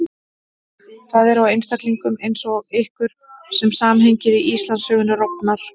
Það er á einstaklingum eins og ykkur sem samhengið í Íslandssögunni rofnar.